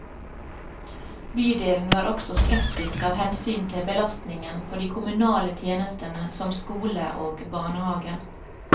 Bydelen var også skeptisk av hensyn til belastningen på de kommunale tjenestene som skole og barnehave.